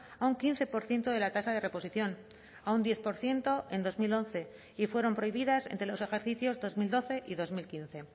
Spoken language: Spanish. a un quince por ciento de la tasa de reposición a un diez por ciento en dos mil once y fueron prohibidas entre los ejercicios dos mil doce y dos mil quince